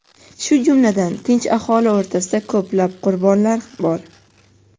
shu jumladan tinch aholi orasida ko‘plab qurbonlar bor.